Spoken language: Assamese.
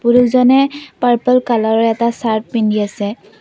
লোকজনে পাৰপল কালাৰৰ এটা চাৰ্ট পিন্ধি আছে।